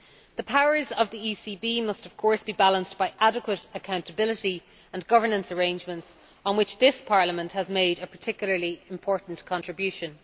The powers of the ECB must of course be balanced by adequate accountability and governance arrangements, to which this Parliament has made a particularly important contribution.